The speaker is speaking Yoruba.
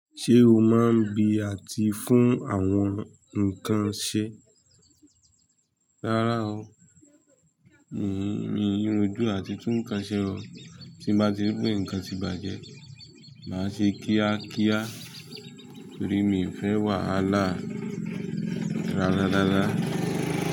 Ṣé o máa ń gbi àti fún àwọn nǹkan ṣe? Rárá o, mi i rójú àti tú nǹkan ṣe o, tí n bá tí rí pé nǹkan ti bàjẹ́, màá ṣe kíákíá torí mi ò fẹ́ wàhálà rárárara.